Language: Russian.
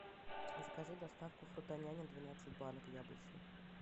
закажи доставку фрутоняня двенадцать банок яблочный